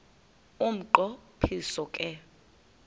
umnqo phiso ke